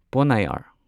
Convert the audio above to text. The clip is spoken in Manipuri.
ꯄꯣꯟꯅꯥꯢꯌꯔ